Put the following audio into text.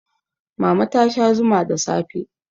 mama ta Sha Zuma da safe